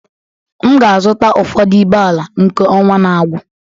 M ga-azụta ụfọdụ ibé ala nke ọnwa na-agwụ